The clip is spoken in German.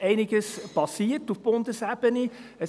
Unterdessen ist auf Bundesebene einiges passiert.